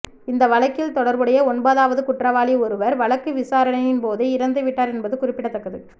இந்த வழக்கில் தொடர்புடைய ஒன்பதாவது குற்றவாளி ஒருவர் வழக்கு விசாரணையின் போதே இறந்து விட்டார் என்பது குறிப்பிடத்தக்கது